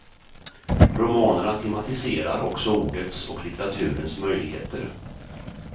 Romanerna tematiserar också ordets och litteraturens möjligheter.